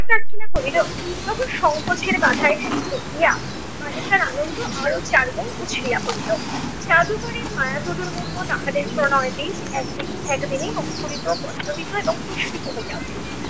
প্রার্থনা করিল, তখন সংকোচের বাঁধা এসে ঠেকিয়া বালিকার আনন্দ আরো চারগুণ উছলিয়া পড়িল। জাদুকরীর মায়া দুটোর মতো তাহাদের প্রণয় বীজ একদিকে~ একদিনেই অঙ্কুরিত, পল্লবিত এবং পুষ্পিত হইয়া উঠিল।